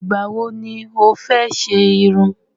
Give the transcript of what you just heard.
Ìgbà wo ni o fẹ́ ṣe irun?